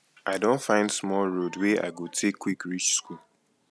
i don find small road wey i go take quick reach school